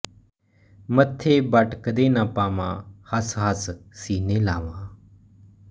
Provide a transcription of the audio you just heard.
ਮੱਥੇ ਵਟ ਕਦੇ ਨਾ ਪਾਵਾਂ ਹਸ ਹਸ ਸੀਨੇ ਲਾਵਾਂ